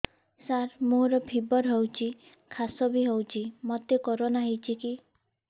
ସାର ମୋର ଫିବର ହଉଚି ଖାସ ବି ହଉଚି ମୋତେ କରୋନା ହେଇଚି କି